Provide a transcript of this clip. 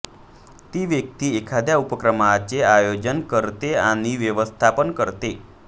ती व्यक्ती एखाद्या उपक्रमांचे आयोजन करते आणि व्यवस्थापन करते